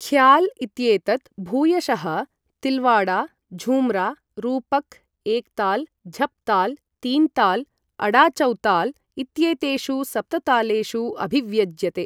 ख्याल् इत्येतत् भूयशः तिल्वाडा, झूम्रा, रूपक्, एक्ताल्, झप्ताल्, तीन्ताल्, अडाचौताल् इत्येतेषु सप्ततालेषु अभिव्यज्यते।